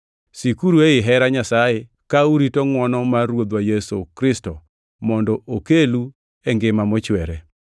Sikuru ei hera Nyasaye ka urito ngʼwono mar Ruodhwa Yesu Kristo mondo okelu e ngima mochwere.